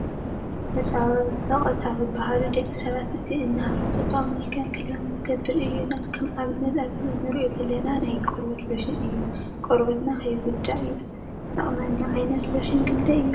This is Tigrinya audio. መመፃክዕን መፃበቅን ዝበሃሉ ደቂ ሰባት እቲ እንሃርፎ ፅባቀን መልክዕን ክህልወና ዝገብሩ እዮም ከምኣብነት ኣብዚ እሪኦ ዘለና ናይ ቆርበትና ሎሽን እዩ። ቆርበትና ከይጉዳእ ይጠቅመና። ዓይነታት ሎሽን ክንዳይ እዮም?